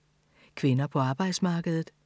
Kvinder på arbejdsmarkedet